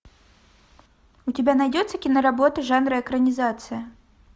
у тебя найдется киноработа жанра экранизация